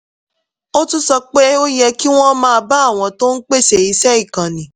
ó tún sọ pé ó yẹ kí wọ́n máa bá àwọn tó ń pèsè iṣẹ́ ìkànnì